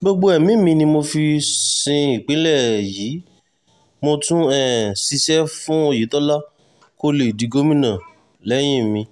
um gbogbo ẹ̀mí mi ni mo fi sin ìpínlẹ̀ yìí mo tún um ṣiṣẹ́ fún oyetola kó lè di gómìnà lẹ́yìn mi